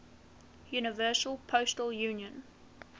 universal postal union